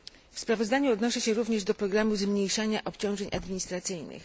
W sprawozdaniu odnoszę się również do programu zmniejszania obciążeń administracyjnych.